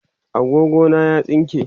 agogo na ya tsinke